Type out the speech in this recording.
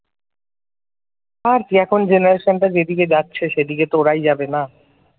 আর কি এখন generation টা যেদিকে যাচ্ছে সেদিকে তো ওরাই যাবে না ।